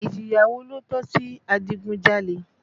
Ìjìyà wo ló tọ́ sí adigunjalè?